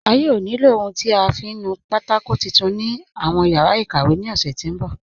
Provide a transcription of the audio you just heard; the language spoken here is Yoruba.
A yóò ní ilọ ohun tí a fiń nù pátákò titun ni awọn yara ikàwé ni ọ̀ṣẹ ti nbọ̀.